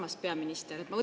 Armas peaminister!